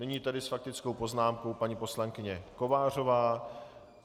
Nyní tedy s faktickou poznámkou paní poslankyně Kovářová.